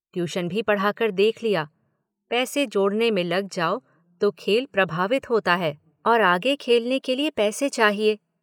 Tuition भी पढ़ा कर देख लिया - पैसे जोड़ने में लग जाओ तो खेल प्रभावित होता है और आगे खेलने के लिए पैसे चाहिए।